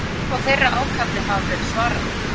Telur þú að þeirra ákalli hafi verið svarað?